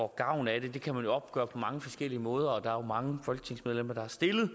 gavn af det kan man jo opgøre på mange forskellige måder der er mange folketingsmedlemmer der har stillet